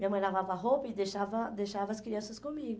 Minha mãe lavava a roupa e deixava, deixava as crianças comigo.